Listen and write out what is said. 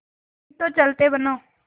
नहीं तो चलते बनो